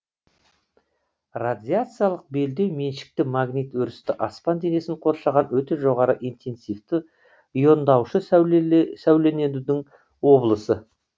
радиациялық белдеу меншікті магнит өрісті аспан денесін қоршаған өте жоғары интенсивті иондаушы сәулеленудің облысы